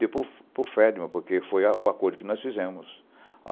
Dei para o para o Ferdinand, porque foi a o acordo que nós fizemos.